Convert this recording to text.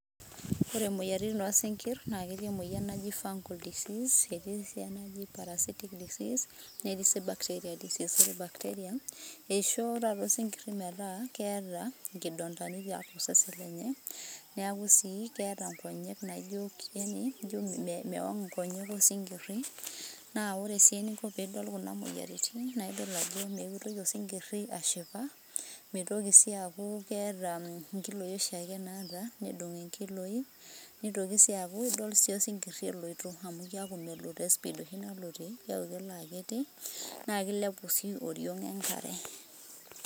Ore imoyiaritin oosinkirr naa ketii emoyian naji Fungal disease, etii sii enaji parasitic disease netii sii bacteria disease. Ore bacteria eishoo taata osinkirri metaa keeta nkidondani tiatua osesen lenye. Neeku sii keeta nkonyek naijo yaani ijo mewang' nkonyek osinkirri. Naa ore sii eningo peidol kuna moyiaritin, naa idol ajo meitoki osinkirri ashipa, meitoki sii aku keeta nkiloi oshiake naata nedung' nkiloi, neitoki sii aku idol sii osinkirri eloito amu keeku melo te speed oshi nalotie keeku kelo akiti, naa keilepu sii oriong' enkare.